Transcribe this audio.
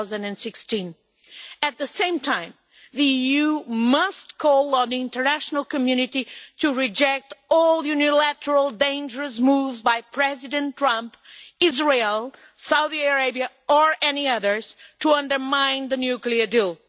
2016. At the same time, the EU must call on the international community to reject all unilateral dangerous moves by President Trump, Israel, Saudi Arabia or any others to undermine the nuclear deal.